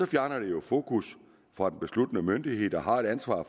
fjerner det jo fokus fra den besluttende myndighed der har et ansvar